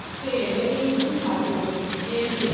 તે અને તો શું થાતું હશે એમ કે